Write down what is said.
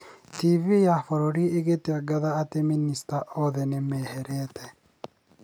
TV ya bũrũri ĩgĩtangatha atĩ minicita othe nĩ meherete.